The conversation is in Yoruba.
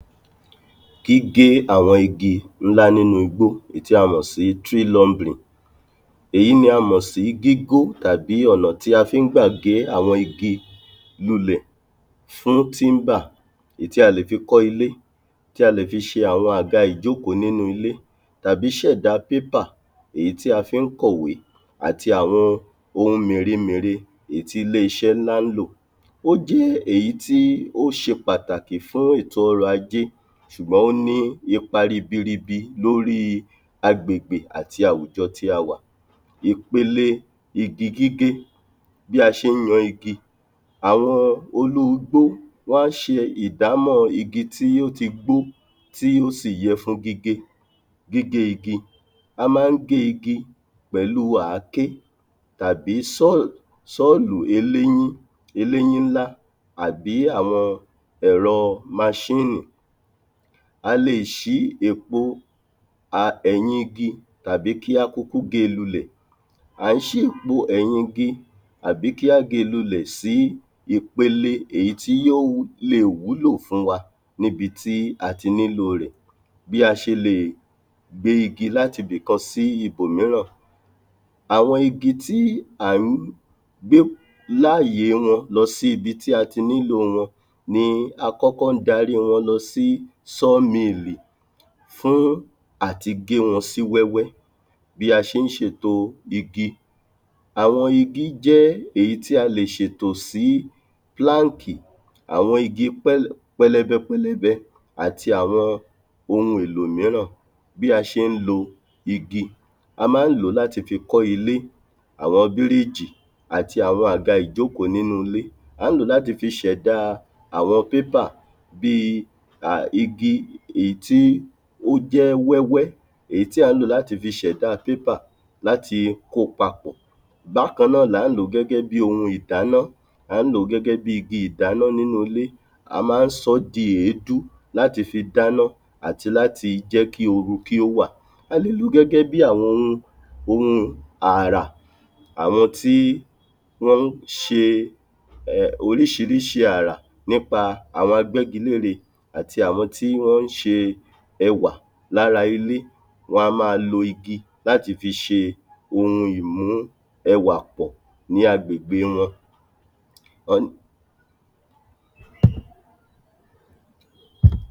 gígé àwọn igi ńlá nínú igbó èyí tí a mọ̀ sí èyí ní a mọ̀ sí gígó tàbí ọ̀nà tí a fi ń gbà gé àwọn igi lúlẹ fún èyí tí a lè fi kọ ilé tí a lè fi ṣe àwọn àga ìjókòó nínú ilé tàbí ṣẹ̀dá èyí tí a fi ń kọ̀wé àti àwọn ohun mèremère èyí tí ilé-iṣẹ́ ńlá ń lò ó jẹ́ èyí tí ó ṣe pàtàkì fún ètò orọ̀ ajé ṣùgbọ́n ó ní ipa ribiribi lóri agbègbè àti awùjọ tí a wà. ìpele igi gígé bí a ṣe ń yan igi, àwọn olú-igbó wán ṣe ìdámọ̀ igi tí o tí gbó tí ó sì yẹ fún g´gé. gígé igi, a máa ń gé igi pẹ̀lú àáké tàbí tọ́lù eléyín eléyín ńlá àbí àwọn ẹ̀rọ maṣínì a lè ṣì èpo a ẹ̀yin igi tàbí kí a kúkú gée lu lẹ̀ à ń ṣí èpo ẹ̀yin igi àbí kí á gée lu lẹ̀ sí ipele èyí tí yòó lè wúlò fún wa níbi tí a ti nílò rẹ̀ bí a ṣe lè gbé igi láti ibi kan sí ibò míràn àwọn igi tí à ń gbé láàye wọn lọ sí ibi tí a ti nílò wọn ní a kọ́kọ́ ń darí wọn lọ sí fún áti gé wọn sí wẹ́wẹ́ bí a ṣe ń ṣètò igi àwọn igi jẹ́ èyí tí a lè ṣètò sí àwọn igi pẹlẹ pẹlẹbẹpẹlẹbẹ àti àwọn ohun èlò míràn bí a ṣe ń lo igi, a ma ń lòó láti fi kọ́ ilé àwọn bírígì àti àwọn àga ìjókò nínú ilé à ń lòó láti fi ṣẹ̀dá àwọn bíi igi èyí tí ó jẹ́ wẹ́wẹ́, èyí tí à ń lò láti fi ṣẹ̀dá láti kó pa bákàn náà la ń lòó gẹ́gẹ́bíi ohun ìdáná, à ń lòó gẹ́gẹ́bíi igi ìdáná nínú ilé a ma ń sọ ọ́ di èédú láti fi dáná àti láti jẹ́ kí oru kí ó wà a lè lòó gẹ́gẹ́bíi àwọn ohun ohun arà, àwọn tí wọ́n ń ṣe oríṣiríṣi arà nípa àwọn agbẹ́gilére àti àwọn tí wọ́n ń ṣe ẹwà lára ilé, wan máa lo igi láti fi ṣe ohun ìmú ẹwà pọ̀ ní agbègbè wọn.